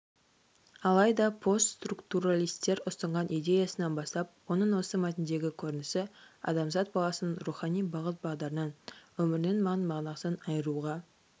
алайда постструктуралистер ұсынған идеясынан бастап оның осы мәтіндегі көрінісі адамзат баласының рухани бағыт-бағдарынан өмірінің мән-мағынасынан айыруға